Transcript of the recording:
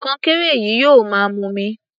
Kọnkéré yìí yóò máa mumi.